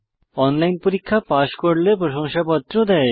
online পরীক্ষা pass করলে প্রশংসাপত্র দেয়